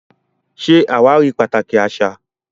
Ṣé àwárí pàtàkì àṣà